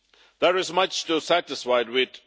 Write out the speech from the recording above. There is much to be satisfied with.